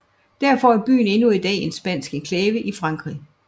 Derfor er byen endnu i dag en spansk enklave i Frankrig